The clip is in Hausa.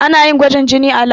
Ana yin gwajin jini a lab.